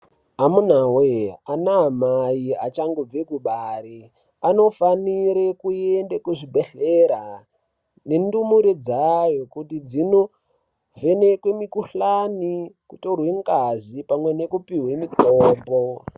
Amunawe anaamai achangobve kubare anofanire kuende kuzvibhehlera nendumure dzayo kuti dzinovhenekwe mukuhlani kutorwe ngazi pamwe nekupuwe mutombo.